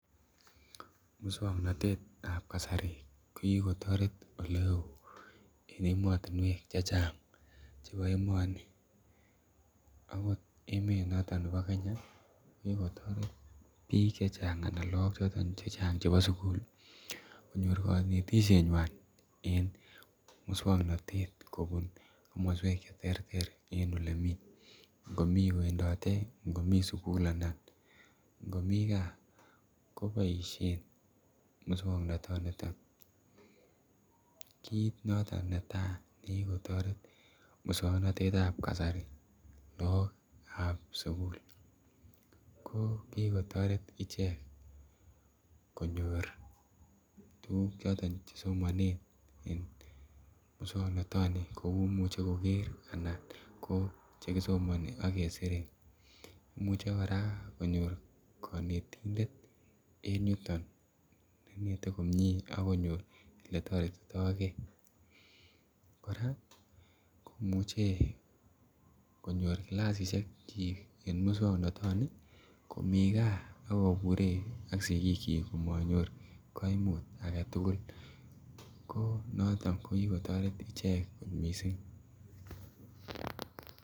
Muswoknotet tab kasari ko kikotoret oleo en emotunwek chechang' chebo emoni, akot emet noton nebo Kenya ko kikotoret bik chechang' ana Lok choton chechang' chebo sukul konyor konetishenywan en muswoknotet kobun komoswek cheterter en ole mii. Ngomii kwendote ngomii sukul anan ngomii gaa koboishen muswoknot niton. Kit noton netai nekiikotoret muswoknotet ya. Kasari lok ab sukul ko kikotoret ichek konyor tukuk choton chesomonen en muswoknotoni kou imuche koker anan ko chekisomoni ak kesire imuche Koraa konyor konetindet en yuton nenete komie ak konyor eletoretito gee, Koraa komuche konyor kilasishek chik en muswoknotoni komii gaa ak kobure ak siki chik komonyorur koimut agetukul ko noton ko kokotoret ichek missing'.